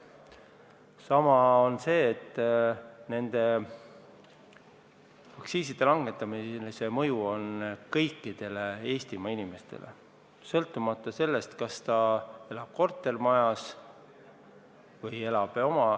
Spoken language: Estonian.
Samas, nende aktsiiside langetamise mõju on tunda kõikidel Eestimaa inimestel, sõltumata sellest, kas inimene elab kortermajas või eramajas.